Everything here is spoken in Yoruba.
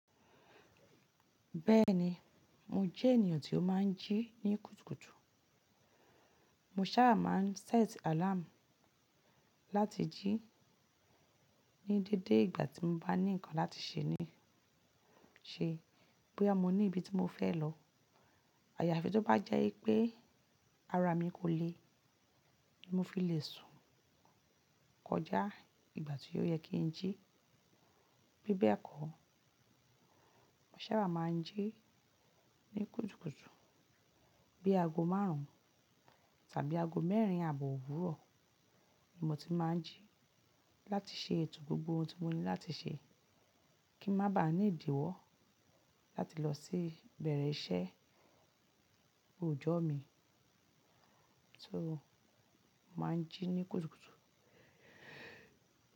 Bẹ́ẹ̀ni, mo jẹ́ ènìyàn tí ó máa ń jí ní kùtùkùtù. Mo sábà máa ń sẹ́t àláàmù láti jí ní dédé ìgbà tí mo bá ní nǹkan láti ṣe ní ṣe. Boya mo ní ibi tí mo fẹ́ lọ. Àyàfi tó bá jẹ́ wi pé ara mi kò le, mo fi lè sùn kọjá ìgbà tí ó yẹ kí n jí. Bí bẹ́ẹ̀ kọ́, mo sábà máa ń jí ní kùtùkùtù. Bí aago márùn-ún tàbí aago mẹ́rin àbọ̀ òwúrọ̀ ni mo ti máa ń jí láti ṣe ètò gbogbo ohun tí mo ní láti ṣe kí n má ba à ní ìdíwọ́ láti lọ sí bẹ̀rẹ̀ iṣẹ́ òòjọ́ mi. Só máa ń jí ní kùtùkùtù.